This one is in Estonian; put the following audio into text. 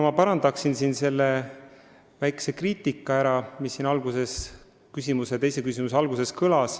Ma parandaksin ära väikese kriitika, mis kõlas teise küsimuse alguses.